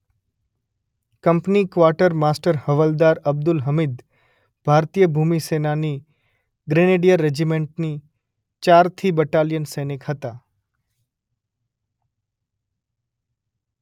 Company quarter master હવાલદાર અબ્દુલ હમીદ ભારતીય ભૂમિસેનાની ગ્રેનેડિયર રેજિમેન્ટની ચોથી બટાલિઅનના સૈનિક હતા.